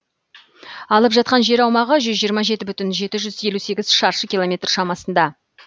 алып жатқан жер аумағы жүз жиырма жеті бүтін жеті жүз елу сегіз шаршы километр шамасында